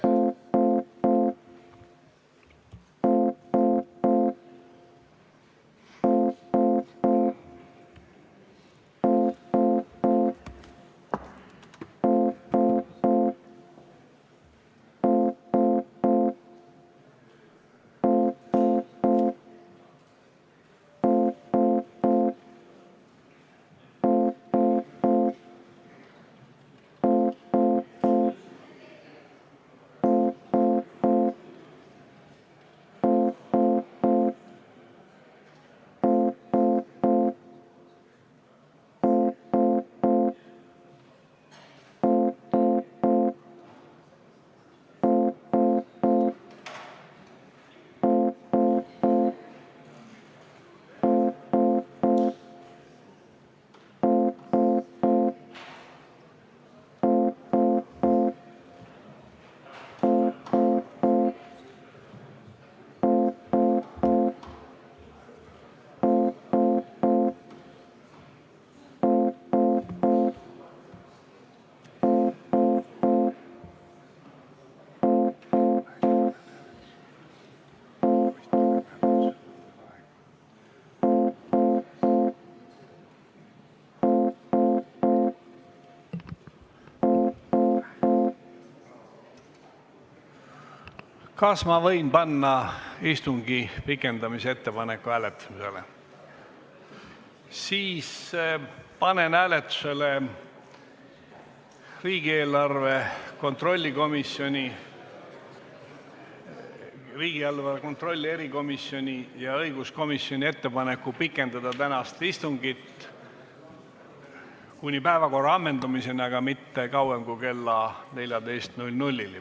Panen hääletusele riigieelarve kontrolli erikomisjoni ja õiguskomisjoni ettepaneku pikendada tänast istungit kuni päevakorra ammendumiseni, aga mitte kauem kui kella 14-ni.